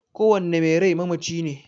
Kowanne mai rai mamaci ne